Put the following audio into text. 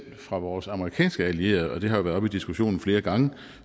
fra vores amerikanske allierede og det har jo været oppe i diskussionen flere gange